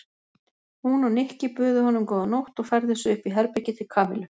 Hún og Nikki buðu honum góða nótt og færðu sig upp í herbergið til Kamillu.